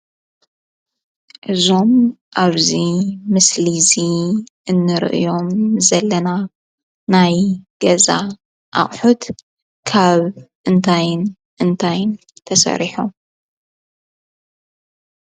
እዞም ኣብዚ ምስሊ እዚ እንሪኦም ዘለና ናይ ገዛ ኣቑሑት ካብ እንታይን እንታይን ተሰሪሖም?